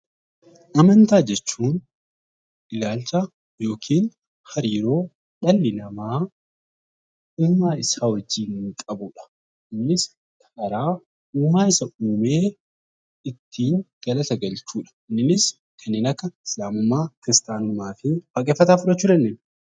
Amantaa jechuun ilaalcha yookaan hariiroo dhalli namaa uumaa isaa wajjin qabudha. Innis karaa uumaa isa uumee ittiin galata galchuudha. Inni kanneen akka musiliimummaa, kiristaanummaa waaqeffataa fudhachuu dandeenya.